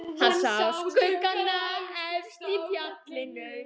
Hann sá skuggana efst í fjallinu.